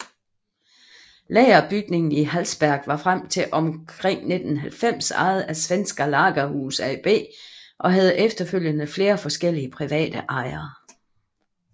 Lagerbygningen i Hallsberg var frem til omkring 1990 ejet af Svenska Lagerhus AB og havde efterfølgende flere forskellige private ejere